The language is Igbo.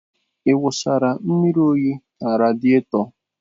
Ị wụsara mmiri oyi na radieto?